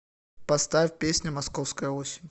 поставь песня московская осень